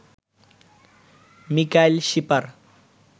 Mikail Shipar